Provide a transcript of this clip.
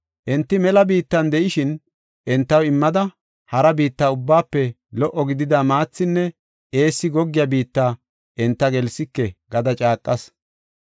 Enti mela biittan de7ishin, entaw immida, hara biitta ubbaafe lo77o gidida maathinne eessi goggiya biitta, enta gelsike gada caaqas.